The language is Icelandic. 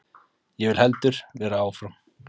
Ég vil heldur vera áfram.